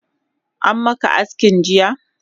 Ammaka aski jiya?